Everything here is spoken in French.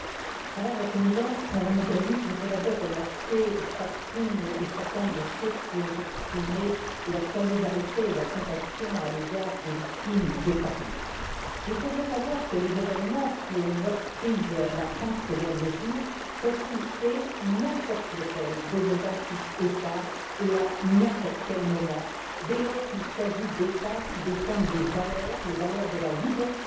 Madame la Présidente, Madame Mogherini, je voudrais d'abord remercier chacune et chacun de ceux qui ont exprimé leur solidarité et leur compassion à l'égard des victimes de Paris. Il faut bien savoir que les événements qui ont meurtri la France ces derniers jours peuvent toucher n'importe lequel de nos vingt huit États et à n'importe quel moment, dès lors qu'il s'agit d'États qui défendent des valeurs, les valeurs de la liberté,